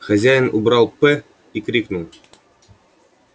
хозяин убрал п и крикнул